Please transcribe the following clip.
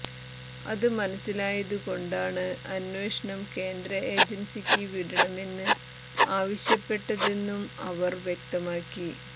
അത് മനസ്സിലായതുകൊണ്ടാണ് അന്വേഷണം കേന്ദ്ര ഏജൻസിക്ക് വിടണമെന്ന് ആവശ്യപ്പെട്ടതെന്നും അവർ വ്യക്തമാക്കി